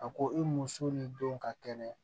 A ko i muso ni denw ka kɛnɛ